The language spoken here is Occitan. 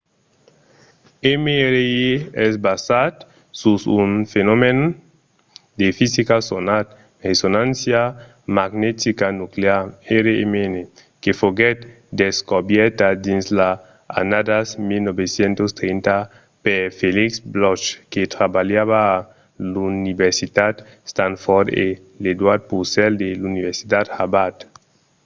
mri es basat sus un fenomèn de fisica sonat resonància magnetica nuclear rmn que foguèt descobèrta dins las annadas 1930 per felix bloch que trabalhava a l'universitat stanford e edward purcell de l'universitat harvard